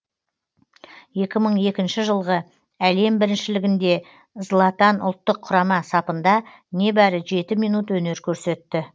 екі мың екінші жылғы әлем біріншілігінде златан ұлттық құрама сапында небәрі жеті минут өнер көрсетті